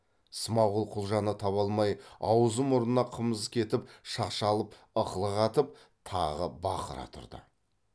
смағұл құлжаны таба алмай аузы мұрнына қымыз кетіп шашалып ықылық атып тағы бақыра тұрды